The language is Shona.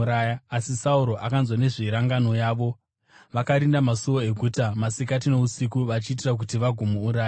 asi Sauro akanzwa nezverangano yavo. Vakarinda masuo eguta masikati nousiku vachiitira kuti vagomuuraya.